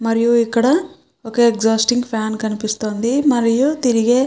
మరియు ఇక్కడ ఒక ఎగ్జాస్ట్ ఫ్యాన్ కనిపిస్తుంది మరియు తిరిగే --